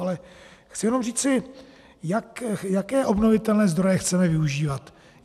Ale chci jenom říci - jaké obnovitelné zdroje chceme využívat?